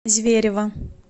зверево